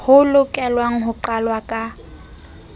ho lokelwang ho qalwa ka